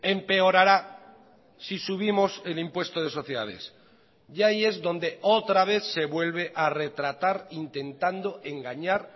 empeorará si subimos el impuesto de sociedades y ahí es donde otra vez se vuelve a retratar intentando engañar